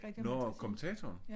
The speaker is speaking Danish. Nårh kommentatoren?